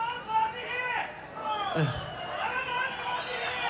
Qarabağ Qarabağdır!